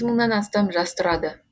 мыңнан астам жас тұрады